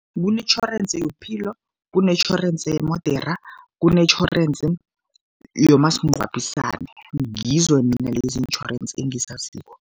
Kunetjhorensi yobuphilo, kunetjhorensi yemodera, kunetjhorensi yomasingcwabisane, ngizo mina lezi iintjhorensi engizaziko.